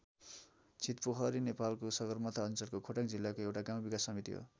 छितपोखरी नेपालको सगरमाथा अञ्चलको खोटाङ जिल्लाको एउटा गाउँ विकास समिति हो।